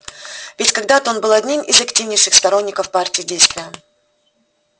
ведь когда-то он был одним из активнейших сторонников партии действия